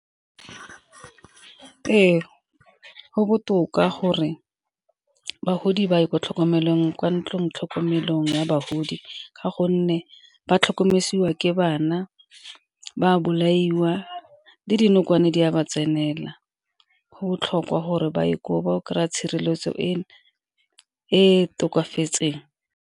Ee, go botoka gore bagodi ba ye kwa ntlong tlhokomelong ya bagodi ka gonne ba ke bana, ba bolaiwa le dinokwane di a ba tsenela go botlhokwa gore ba ye koo ba o kry-a tshireletso e tokafatseng.